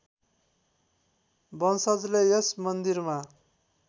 वंशजले यस मन्दिरमा